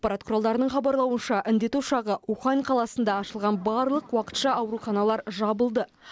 ақпарат құралдарының хабарлауынша індет ошағы ухань қаласында ашылған барлық уақытша ауруханалар жабылды